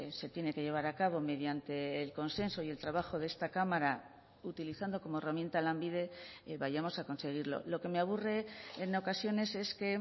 se tiene que llevar a cabo mediante el consenso y el trabajo de esta cámara utilizando como herramienta lanbide vayamos a conseguirlo lo que me aburre en ocasiones es que